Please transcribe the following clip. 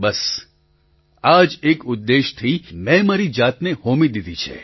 બસ આ જ એક ઉદ્દેશ્યથી મેં મારી જાતને હોમી દીધી છે